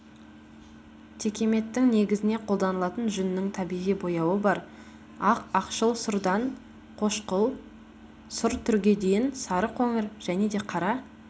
текеметтің негізіне қолданылатын жүннің табиғи бояуы бар ақ ақшыл-сұрдан қошқыл сұр түрге дейін сары қоңыр және де қара